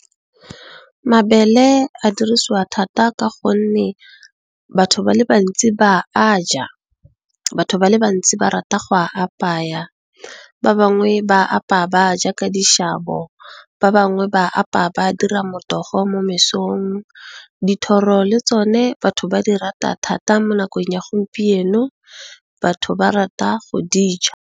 Mabele a dirisiwa thata ka gonne batho ba le bantsi ba a ja, batho ba le bantsi ba rata go a apaya, ba bangwe ba apaya ba a ja ka dishabo, ba bangwe ba apaya ba dira motogo mo mesong. Dithoro le tsone batho ba di rata thata mo nakong ya gompieno batho ba rata go dija.